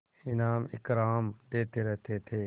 इनाम इकराम देते रहते थे